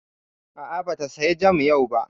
A'a, ba ta saya jam yau ba